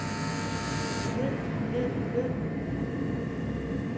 ved ved ved